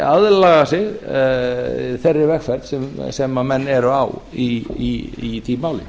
aðlaga sig þeirri vegferð sem menn eru á í því máli